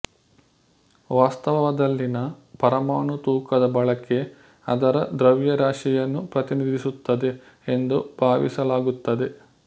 ವಾಸ್ತವದಲ್ಲಿನ ಪರಮಾಣು ತೂಕದ ಬಳಕೆ ಅದರ ದ್ರವ್ಯರಾಶಿಯನ್ನು ಪ್ರತಿನಿಧಿಸುತ್ತದೆ ಎಂದು ಭಾವಿಸಲಾಗುತ್ತದೆ